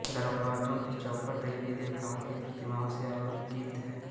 दरवाजों की चौखटें देवी देवताओं की प्रतिमाओं से अलंकृत हैं